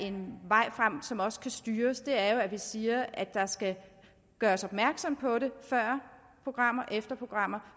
en vej som også kan styres jo er at vi siger at der skal gøres opmærksom på det før programmer og efter programmer